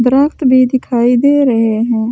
दरद मे दिखाई दे रहे हैं ।